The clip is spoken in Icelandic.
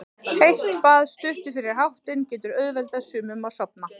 Heitt bað stuttu fyrir háttinn getur auðveldað sumum að sofna.